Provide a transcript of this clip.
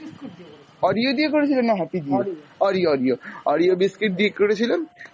Oreo দিয়ে করেছিলে না happy দিয়ে? অরিও অরিও, অরিও biscuit দিয়ে করেছিলাম,